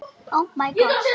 Hún kenndi mér einnig margt.